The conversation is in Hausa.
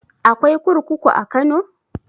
Akwai kurkuku a kano?